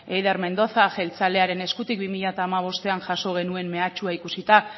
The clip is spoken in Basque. eider mendoza jeltzalearen eskutik bi mila hamabostean jaso genuen mehatxua ikusita